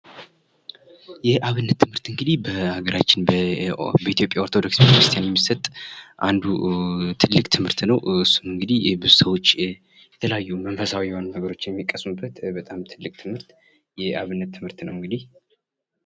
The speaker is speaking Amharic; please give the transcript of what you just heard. የአብነት ትምህርት እንግዲህ በሀገራችን በኢትዮጵያ ኦርቶዶክስ ቤተክርስቲያን የሚሰጥ አንዱ ትልቅ ትምህርት ነው፤ እሱም እንግዲህ ብዙ ሰዎች የተለያዩ መንፈሳዊ የሆኑ ነገሮችን የሚቀስሙበት በጣም ትልቅ ትምህርት የአብነት ትምህርት ነው እንግዲህ።